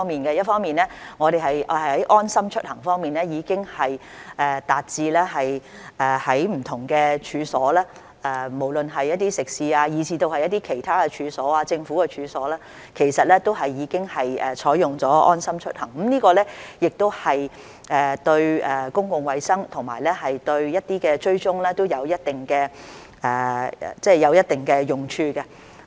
一方面，我們的"安心出行"流動應用程式的應用已經達至不同的處所，無論是食肆以至其他處所、政府處所，其實都已經採用"安心出行"，這對公共衞生和對一些追蹤都有一定的用處。